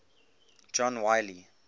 john wiley